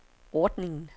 ordningen